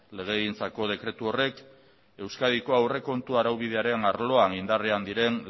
legegintzako dekretu horrek euskadiko aurrekontua araubidearen arloan indarrean diren